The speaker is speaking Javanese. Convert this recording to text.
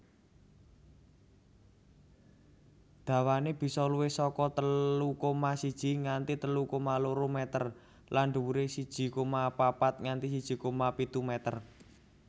Dawané bisa luwih saka telu koma siji nganti telu koma loro meter lan dhuwuré siji koma papat nganti siji koma pitu meter